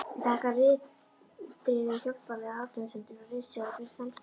Ég þakka ritrýnum hjálplegar athugasemdir og ritstjórn fyrir samstarfið.